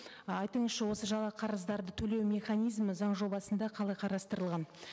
айтыңызшы осы қарыздарды төлеу механизмі заң жобасында қалай қарастырылған